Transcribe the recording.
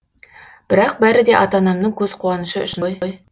бірақ бәрі де ата анамның көз қуанышы үшін ғой